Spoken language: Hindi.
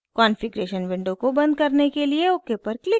कॉन्फ़िग्रेशन विंडो को बंद करने के लिए ok पर क्लिक करें